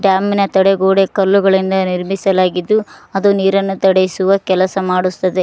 Dam ನ ತಡೆಗೋಡೆ ಕಲ್ಲುಗಳಿಂದ ನಿರ್ಮಿಸಲಾಗಿದ್ದು ಅದು ನೀರನ್ನು ತಡಿಸುವ ಕೆಲಸ ಮಾಡುಸ್ತದೆ.